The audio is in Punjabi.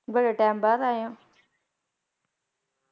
ਬੜੇ ਟੈਮ ਬਾਅਦ ਆਏ ਹੋਂ